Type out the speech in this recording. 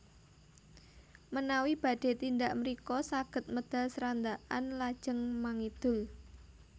Menawi badhé tindak mrika saged medal Srandakan lajeng mangidul